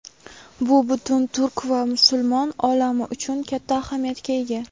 Bu butun Turk va musulmon olami uchun katta ahamiyatga ega.